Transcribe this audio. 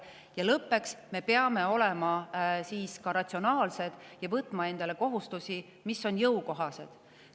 Ja lõppeks, me peame olema ka ratsionaalsed ja võtma endale kohustusi, mis on jõukohased.